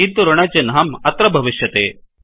किन्तु ऋणचिह्नम् अत्र भविष्यति